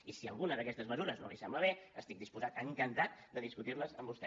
i si alguna d’aquestes mesures no li sembla bé estic disposat encantat de discutir les amb vostè